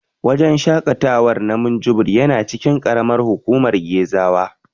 Wajen shaƙatawa na Minjibir yana cikin ƙaramar hukumar Gezawa.